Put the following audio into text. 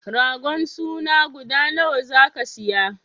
Ragon suna guda nawa zaka siya?